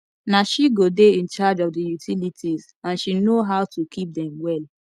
na she go dey in charge of the utilities and she no how to keep dem well